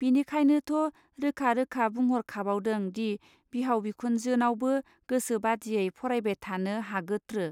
बिनिखायनोथ रोखा रोखा बुंहरखाबावदों दि बिहाव बिखुनजोनावबो गोसो बादियै फरायबाय थानो हागोत्रो.